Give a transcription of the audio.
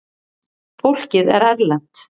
Fólkið er erlent.